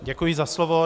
Děkuji za slovo.